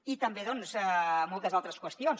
i també doncs moltes altres qüestions